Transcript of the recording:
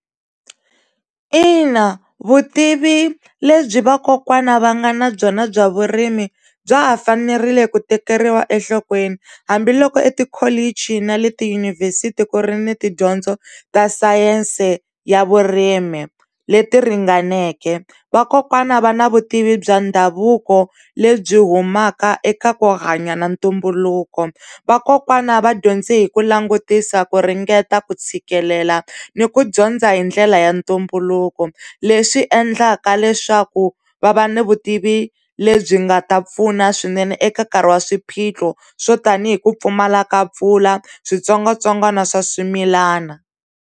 Ina vutivi lebyi vakokwana va nga na byona bya vurimi bya ha fanerile ku tekeriwa enhlokweni hambiloko etikholichi na le tiyunivhesiti ku ri ni tidyondzo ta sayense ya vurimi leti ringaneke vakokwana va na vutivi bya ndhavuko lebyi humaka eka ku hanya na ntumbuluko vakokwana va dyondze hi ku langutisa ku ringeta ku tshikelela ni ku dyondza hi ndlela ya ntumbuluko leswi endlaka leswaku va va ni vutivi lebyi nga ta pfuna swinene eka nkarhi wa swiphiqo swo tanihi ku pfumala ka mpfula switsongwatsongwana swa swimilana.